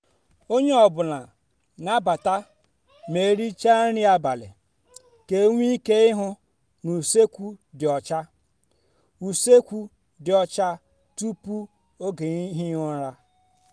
onye ọ bụla n'abata ma ericha nri abalị ka enwe ike ihu na usekwu dị ọcha usekwu dị ọcha tupu oge ihi ụra.